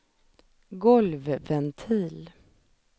golvventil